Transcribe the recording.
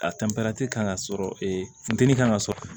A kan ka sɔrɔ ee funteni kan ka sɔrɔ